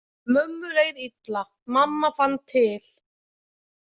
Mömmu leið illa, mamma fann til.